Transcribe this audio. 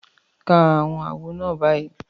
Ka àwọn àwọ̀ náà báyìí